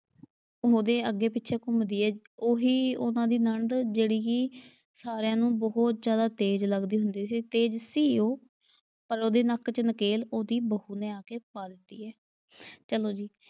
ਉਹਦੇ ਅੱਗੇ ਪਿੱਛੇ ਘੁੰਮਦੀ ਏ, ਉਹੀ ਉਨ੍ਹਾਂ ਦੀ ਨਣਦ ਜਿਹੜੀ ਕਿ ਸਾਰਿਆਂ ਨੂੰ ਬਹੁਤ ਜਿਆਦਾ ਤੇਜ਼ ਲੱਗਦੀ ਹੁੰਦੀ ਸੀ, ਤੇਜ਼ ਸੀ ਉਹ ਪਰ ਉਹਦੇ ਨੱਕ ਚ ਨਕੇਲ ਉਹਦੀ ਬਹੂ ਨੇ ਆ ਕੇ ਪਾ ਦਿੱਤੀ ਏ ਚਲੋ ਜੀ।